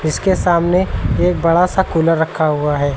उसके सामने एक बड़ा सा कूलर रखा हुआ है।